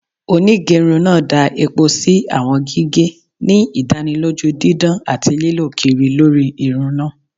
Onigerun naa da epo si awọn gige, ni idaniloju didan ati lilọ kiri lori irun naa.